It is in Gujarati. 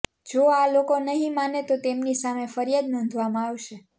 જો આ લોકો નહીં માને તો તેમની સામે ફરિયાદ નોંધવામાં આવશે